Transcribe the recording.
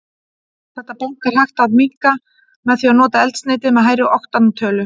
Þetta bank er hægt að minnka með því að nota eldsneyti með hærri oktantölu.